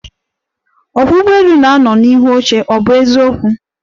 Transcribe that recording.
Ọkwọ́ ụgbọelu na-anọ n'ihu oche, ọ bụ eziokwu?